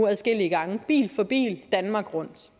adskillige gange bil for bil danmark rundt